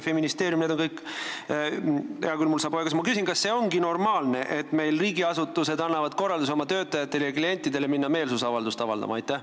Hea küll, mul saab aeg otsa ja ma küsin: kas see on normaalne, et meil riigiasutused annavad oma töötajatele ja klientidele korraldusi minna meelsust avaldama?